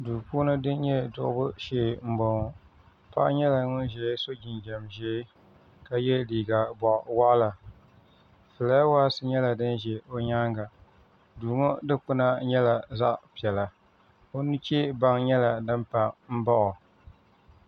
Duu puuni din nyɛ duɣuli shee n boŋo paɣa nyɛla ŋun ʒɛya so jinjɛm ʒiɛ ka yɛ liiga boɣa waɣala fulaawaasi nyɛla din ʒɛ o nyaanga duu ŋo dikpuna nyɛla zaɣ piɛla o nuchɛ baŋ nyɛla din pa n ba o